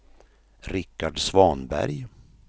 Richard Svanberg